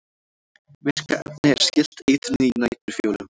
virka efnið er skylt eitrinu í næturfjólum